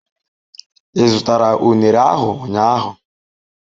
Ị zụtara unere ahu ụnyahụ?